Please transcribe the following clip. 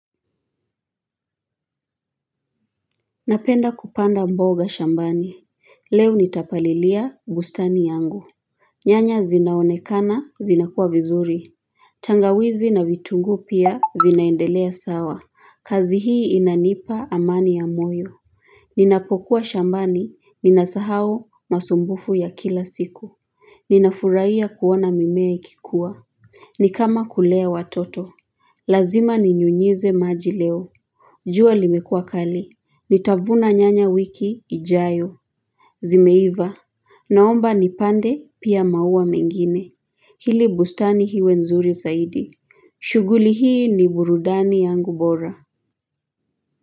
Napenda kupanda mboga shambani Leo nitapalilia bustani yangu. Nyanya zinaonekana zinakua vizuri. Tangawizi na vitunguu pia vinaendelea sawa. Kazi hii inanipa amani ya moyo. Ninapokuwa shambani ninasahau masumbufu ya kila siku. Ninafurahia kuona mimea ikikuwa. Ni kama kulea watoto. Lazima ninyunyize maji leo. Jua limekuwa kali. Nitavuna nyanya wiki ijayo. Zimeiva. Naomba nipande pia maua mengine. Hili bustani iwe nzuri zaidi. Shughuli hii ni burudani yangu bora.